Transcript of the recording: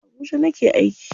A Abuja nake aiki.